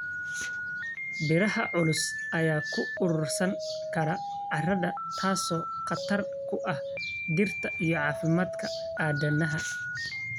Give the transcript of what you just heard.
Biraha culus ayaa ku uruursan kara carrada, taasoo khatar ku ah dhirta iyo caafimaadka aadanaha.